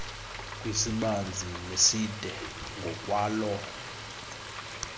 kwisibanzi neside ngokwaloo